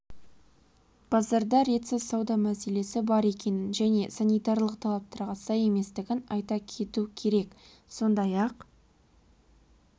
базарда ретсіз сауда мселесі бар екенін жне санитарлық талаптарға сай еместігін айта кету керек сондай-ақ